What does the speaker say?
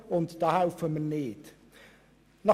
Da helfen wir nicht mit.